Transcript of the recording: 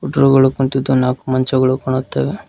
ಟ್ರೋಗಳು ಕುಂತಿದು ನಾಕ್ ಮಂಚಗಳು ಕಾಣುತ್ತವೆ.